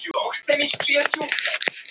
Og við erum vinir.